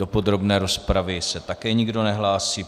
Do podrobné rozpravy se také nikdo nehlásí.